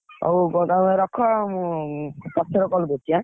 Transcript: ହଉ ତମେ ରଖ, ମୁଁ ପଛରେ call କରୁଛି ଏଁ।